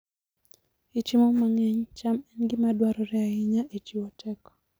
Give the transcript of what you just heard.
E chiemo mang'eny, cham en gima dwarore ahinya e chiwo teko.